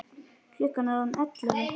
Klukkan er orðin ellefu.